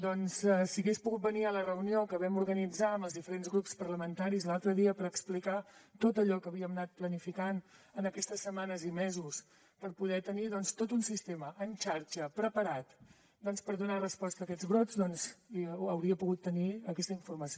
doncs si hagués pogut venir a la reunió que vam organitzar amb els diferents grups parlamentaris l’altre dia per explicar tot allò que havíem anat planificant en aquestes setmanes i mesos per poder tenir doncs tot un sistema en xarxa preparat per donar resposta a aquests brots hauria pogut tenir aquesta informació